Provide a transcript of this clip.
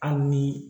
Hali ni